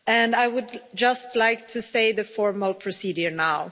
I would just like to say the formal procedure now.